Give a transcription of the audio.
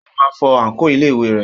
Ó máa fọ àǹkóò iléèwé rẹ̀.